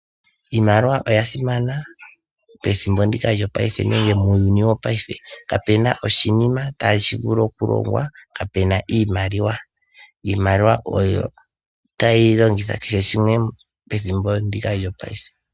Iimaliwa oya simana, pethimbo ndika lyo paife nenge muuyuni wo paife, kape na oshinima tashi vulu okulongwa kaa pe na iimaliwa. Iimaliwa oyo tayi longithwa kehe shimwe pethimbo ndika lyo ngaashi ngeyika.